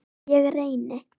Ég reyni.